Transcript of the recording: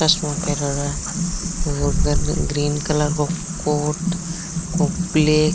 चश्मों पहरयोडो है और गर्मी में ग्रीन कलर को कोट और ब्लैक --